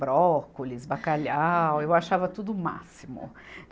Brócolis, bacalhau, eu achava tudo o máximo.